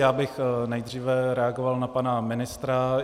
Já bych nejdříve reagoval na pana ministra.